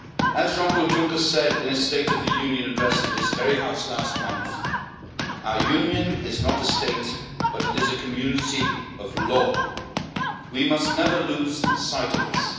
As Jean Claude Juncker said in his State of the Union address to this House last month, our Union is not a state but it is a community of law. We must never lose sight of this.